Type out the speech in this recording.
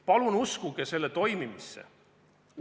Palun uskuge selle toimimisse!